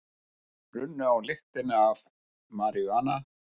Runnu á lyktina af maríjúana